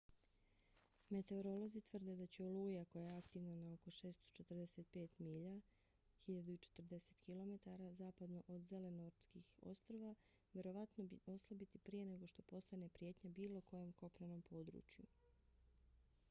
meteorolozi tvrde da će oluja koja je aktivna na oko 645 milja 1040 km zapadno od zelenortskih ostrva vjerovatno oslabiti prije nego što postane prijetnja bilo kojem kopnenom području